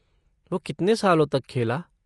वो कितने सालों तक खेला?